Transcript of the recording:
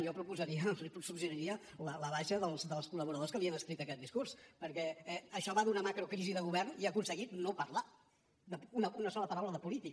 jo proposaria li suggeriria la baixa dels col·laboradors que li han escrit aquest discurs perquè això va d’una macrocrisi de govern i ha aconseguit no parlar una sola paraula de política